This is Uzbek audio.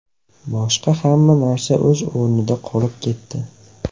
Boshqa hamma narsa o‘z o‘rnida qolib ketdi.